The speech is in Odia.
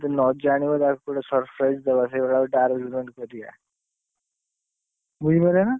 ନଜାଣିବ ତାକୁ ଗୋଟେ surprise ଦେବା ସେଇଭଳିଆ ଗୋଟେ arrangement କରିଆ ବୁଝିପାଇଲ ନା?